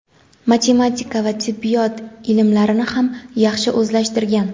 matematika va tibbiyot ilmlarini ham yaxshi o‘zlashtirgan.